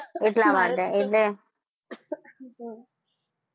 એટલા માટે એટલે